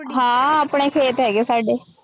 ਹਾਂਂ ਆਪਣੇ ਖੇਤ ਹੈਗੇ ਆ ਸਾਡੇ।